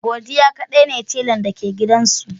Godiya kaɗai ne talan da ke gidan su.